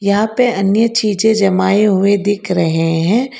यहां पर अन्य चीज जमाये हुए दिख रहे हैं।